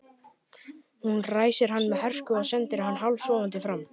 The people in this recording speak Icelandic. Hún ræsir hann með hörku og sendir hann hálfsofandi fram.